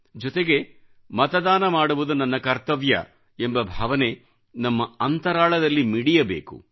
ಜೊತೆಗೆ ಮತದಾನ ಮಾಡುವುದು ನನ್ನ ಕರ್ತವ್ಯ ಎಂಬ ಭಾವನೆ ನಮ್ಮ ಅಂತರಾಳದಲ್ಲಿ ಮಿಡಿಯಬೇಕು